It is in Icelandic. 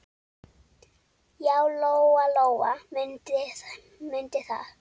Já, Lóa-Lóa mundi það.